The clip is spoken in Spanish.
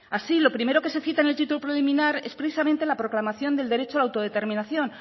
así lo primero que se cita en el título preliminar es precisamente la proclamación del derecho a la autodeterminación